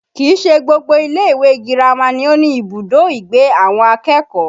Kìí ṣe gbogbo ilé ìwé girama ni ó ní ibùdó ìgbé àwọn akẹ́kọ̀ọ́